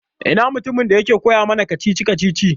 Ina mutumin da yake koya mana kacici-kacicici?